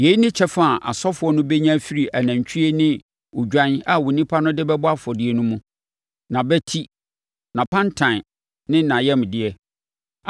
Yei ne kyɛfa a asɔfoɔ no bɛnya afiri anantwie ne odwan a nnipa no de bɛbɔ afɔdeɛ no mu: nʼabati, nʼapantan ne nʼayamdeɛ.